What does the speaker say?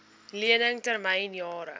lening termyn jare